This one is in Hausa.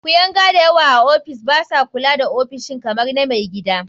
Kuyanga da yawa a ofis ba sa kula da ofishin kamar na mai gida.